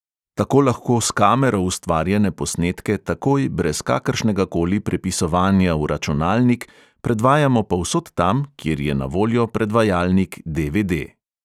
Tako lahko s kamero ustvarjene posnetke takoj, brez kakršnega koli prepisovanja v računalnik, predvajamo povsod tam, kjer je na voljo predvajalnik DVD.